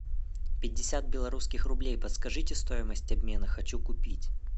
пятьдесят белорусских рублей подскажите стоимость обмена хочу купить